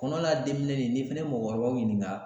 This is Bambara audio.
Kɔnɔ la den minɛ nin, ni fɛnɛ ye mɔgɔkɔrɔbaw ɲininka